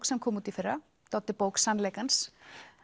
sem kom út í fyrra Doddi bók sannleikans